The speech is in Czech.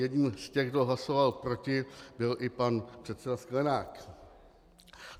Jedním z těch, kdo hlasoval proti, byl i pan předseda Sklenák.